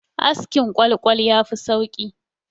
Askin ƙwal-ƙwal ya fi sauki